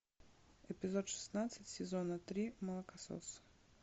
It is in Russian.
эпизод шестнадцать сезона три молокосос